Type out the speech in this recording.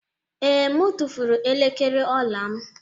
Ee, m tụfuru elekere ọla y m